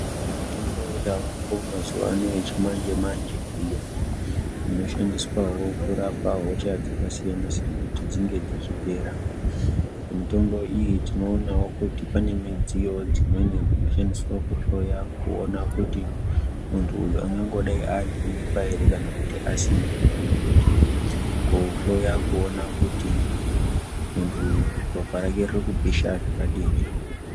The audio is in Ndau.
Mitombo yavako mazuwa ano yechimanje manje iyo inoshandiswa wo kurapa hosha dzakasiyana siyana kuti dzinge dzichipera. Mitombo iyi tinoonawo kuti pane midziyo dzimweni dzinoshandiswa kuhloya kuona kuti muntu uyu angangodai aane mimba ere kana kuti asina. Kana kuti kuhloya kuona kuti muntu uyu ropa rake riri kupisha zvakadini.